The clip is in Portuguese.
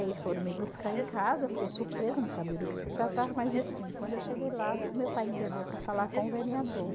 Eles foram me buscar em casa, eu fiquei surpresa, não sabia do que se tratava, mas enfim, quando eu cheguei lá, o meu pai me levou para falar com o vereador.